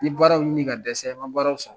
N ye baaraw ɲini ka dɛsɛ n man baaraw sɔrɔ.